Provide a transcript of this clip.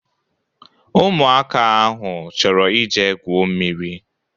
Ụmụaka ahụ chọrọ ije gwuo mmiri.